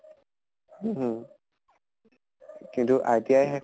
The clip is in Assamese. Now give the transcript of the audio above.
হু হু । কিন্তু ITI